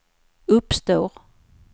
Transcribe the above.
uppstår